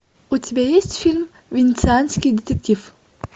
у тебя есть фильм венецианский детектив